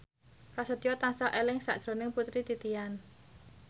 Prasetyo tansah eling sakjroning Putri Titian